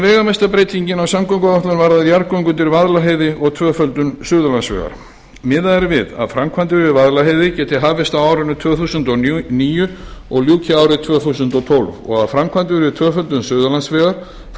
veigamesta breytingin á samgönguáætlun varðar jarðgöng undir vaðlaheiði og tvöföldun suðurlandsvegar miðað er við að framkvæmdir við vaðlaheiði geti hafist á árinu tvö þúsund og níu og ljúki árið tvö þúsund og ellefu og að framkvæmdir við tvöföldun suðurlandsvegar frá